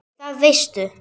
Það veistu.